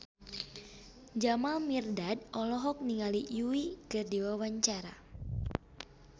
Jamal Mirdad olohok ningali Yui keur diwawancara